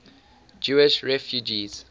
jewish refugees